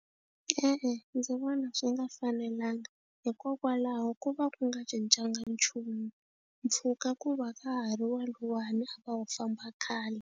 E-e, ndzi vona swi nga fanelanga hikokwalaho ko va ku nga cincanga nchumu mpfhuka ku va ka ha ri waluwani a va wu famba khale.